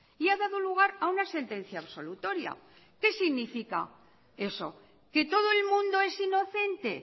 y ha dado lugar a una sentencia absolutoria que significa eso que todo el mundo es inocente